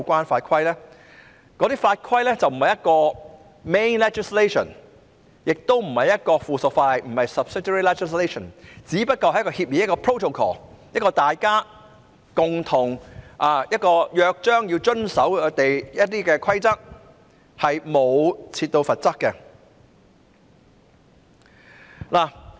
此外，英國和澳洲等地的有關法規並不是主體法例，亦不是附屬法例，只不過是一種協議，即大家須共同遵守的約章或規則，當中是沒有罰則的。